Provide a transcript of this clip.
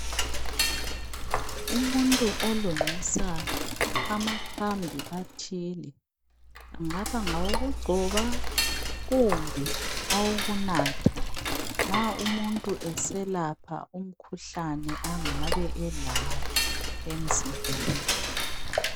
Umuntu olungisa amakhambi athile angaba ngowokugcoba kumbe awokunatha nxa umuntu eselapha umkhuhlane angabe elawo emzimbeni